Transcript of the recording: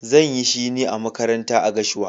Zan yi shine a makaranta a gashua.